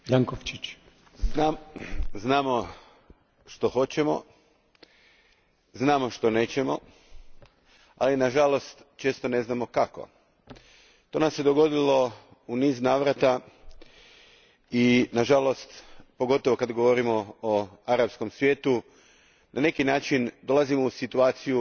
Gospodine predsjedniče, znamo što hoćemo, znamo što nećemo, ali na žalost često ne znamo kako. To nam se dogodilo u niz navrata i na žalost, pogotovo kada govorimo o arapskom svijetu, na neki način dolazimo u situaciju